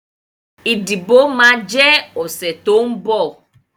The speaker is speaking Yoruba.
Ìdìbò máa jẹ ọ̀sẹ̀ tó ń bọ̀